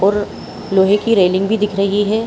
और लोहे की रेलिंग भी दिख रही है।